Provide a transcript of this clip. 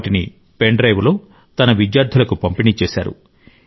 వాటిని పెన్ డ్రైవ్లో తన విద్యార్థులకు పంపిణీ చేశారు